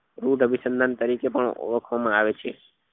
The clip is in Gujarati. રોજ અભિસંધાન તરીકે પણ ઓળખવા માં આવે છે